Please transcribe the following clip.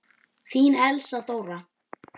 Þín Elsa Dóra.